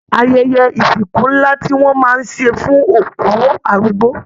Ayẹyẹ ìsìnkú nlá ní wọn máa n ṣe fún òkú arúgbó.